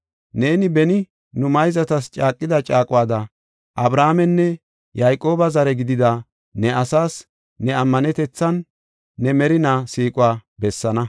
Neeni beni nu mayzatas caaqida caaquwada Abrahaamenne Yayqooba zare gidida ne asaas ne ammanetethanne ne merina siiquwa bessaana.